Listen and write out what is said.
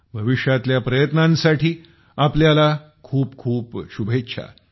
भविष्यातल्या प्रयत्नांसाठी आपल्याला खूपखूप शुभेच्छा